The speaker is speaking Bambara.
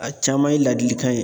A caman ye ladilikan ye.